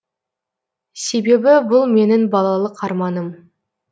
себебі бұл менің балалық арманым